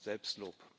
Selbstlob aussprechen.